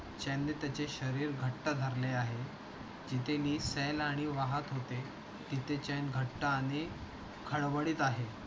चैन ने त्याचे शरीर घट्ट धरले आहे. जिथे नी सैल आणि वाहत होते. तिथे चैन घट्ट आणि खडबडीत आहे.